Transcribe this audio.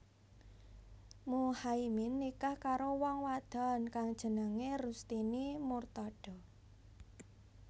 Muhaimin nikah karo wong wadon kang jenengé Rustini Murtadho